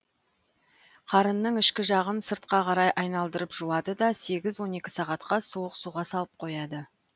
қарынның ішкі жағын сыртқа қарай айналдырып жуады да сегіз он екі сағатқа суық суға салып қояды